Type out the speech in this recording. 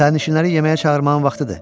Sərnişinləri yeməyə çağırmağın vaxtıdır.